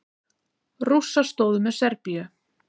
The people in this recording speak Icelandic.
Rússar stóðu með Serbíu.